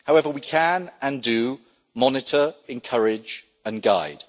However, we can and do monitor, encourage and guide.